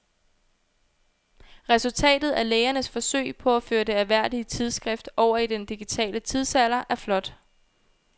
Resultatet af lægernes forsøg på at føre det ærværdige tidsskrift over i den digitale tidsalder er flot.